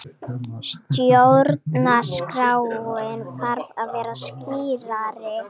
Stjórnarskráin þarf að vera skýrari